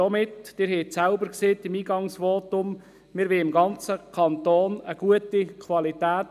Im Eingangsvotum haben Sie selber sagt, die Qualität solle im ganzen Kanton gut sein.